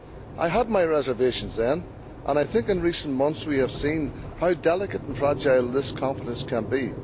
I had my reservations then, and I think in recent months we have seen how delicate and fragile this confidence can be.